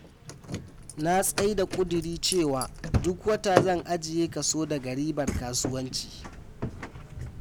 Na tsai da kuduri cewa duk wata zan ajiye kaso daga ribar kasuwanci.